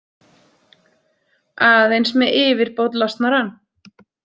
Aðeins með yfirbót losnar hann.